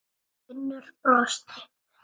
Finnur brosti.